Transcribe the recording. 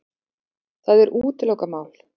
Það er útilokað mál.